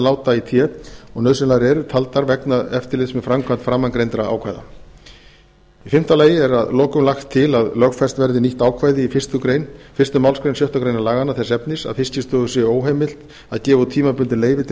láta í té og nauðsynlegar eru taldar vegna eftirlits með framkvæmd framangreindra ákvæða fimmta að lokum er lagt til að lögfest verði nýtt ákvæði í fyrstu málsgrein sjöttu grein laganna þess efnis að fiskistofu sé óheimilt er að gefa út tímabundið leyfi til